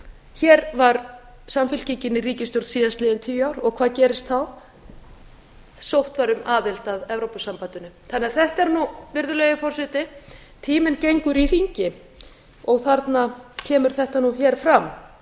hér var samfylkingin í ríkisstjórn síðastliðin tíu ár og hvað gerist þá sótt var um aðild að evrópusambandinu þannig að þetta er nú virðulegi forseti tíminn gengur í hringi og þarna kemur þetta nú hér fram